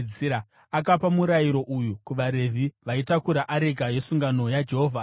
akapa murayiro uyu kuvaRevhi vaitakura areka yesungano yaJehovha achiti,